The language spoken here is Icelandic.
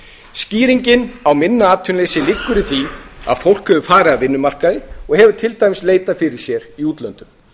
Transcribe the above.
skýringin á minna atvinnuleysi liggur í því að fólk hefur farið af vinnumarkaði og hefur til dæmis leitað fyrir sér í útlöndum